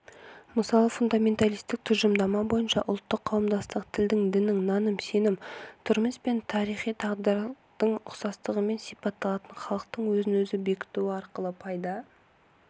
мысалы фундаменталистік тұжырымдама бойынша ұлттық қауымдастық тілдің діннің наным-сенім тұрмыс пен тарихи тағдырдың ұқсастығымен сипатталатын халықтың өзін-өзі бекітуі арқылы пайда